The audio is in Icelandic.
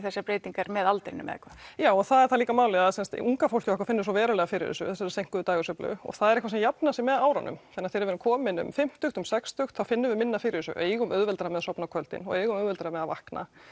þessar breytingar með aldrinum eða hvað já og það er líka málið sem sagt unga fólkið okkar finnur svo verulega fyrir þessu þessari seinkuðu dægursveiflu og það er eitthvað sem að jafnar sig með árunum þannig þegar við erum komin um fimmtugt sextugt þá finnum við minna fyrir þessu eigum auðveldara með að sofna á kvöldin og eigum auðveldara með að vakna